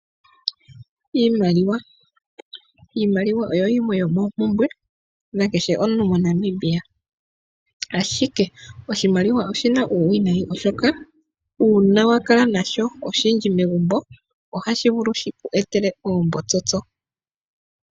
Iimaliwa Iimaliwa oyo yimwe yomoompumbwe yomuntu kehe moNamibia, ashike oshimaliwa oshina uuwinayi oshoka uuna wa kala nasho oshindji megumbo ohashi vulu shiku etele oombotsotso.